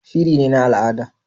Shiri ne na al'ada